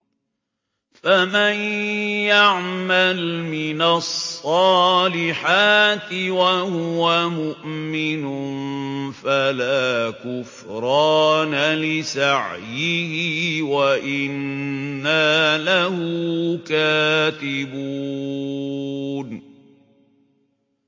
فَمَن يَعْمَلْ مِنَ الصَّالِحَاتِ وَهُوَ مُؤْمِنٌ فَلَا كُفْرَانَ لِسَعْيِهِ وَإِنَّا لَهُ كَاتِبُونَ